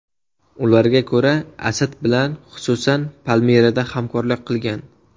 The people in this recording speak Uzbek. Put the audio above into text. Ularga ko‘ra, Asad bilan, xususan, Palmirada hamkorlik qilingan.